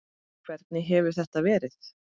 Hvernig hefur þetta verið?